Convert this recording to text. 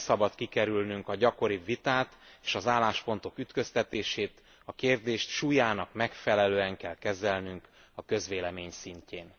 Nem szabad kikerülnünk a gyakoribb vitát és az álláspontok ütköztetését, a kérdést súlyának megfelelően kell kezelnünk a közvélemény szintjén.